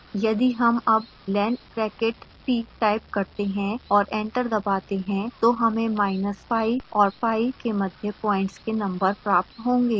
यदि हम अब len bracket t टाइप करते हैं और एंटर दबाते हैं तो हमें minus pi और pi के मध्य प्वाइंट्स के नंबर प्राप्त होंगे